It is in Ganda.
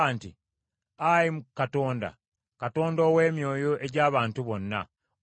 “Muve okumpi n’eweema eza Koola ne Dasani ne Abiraamu.”